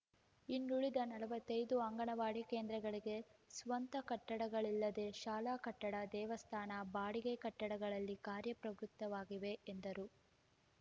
ಇನ್ನುಳಿದ ನಲವತ್ತೈದು ಅಂಗನವಾಡಿ ಕೇಂದ್ರಗಳಿಗೆ ಸ್ವಂತ ಕಟ್ಟಡಗಳಿಲ್ಲದೆ ಶಾಲಾ ಕಟ್ಟಡ ದೇವಸ್ಥಾನ ಬಾಡಿಗೆ ಕಟ್ಟಡಗಳಲ್ಲಿ ಕಾರ್ಯ ಪ್ರವೃತ್ತವಾಗಿವೆ ಎಂದರು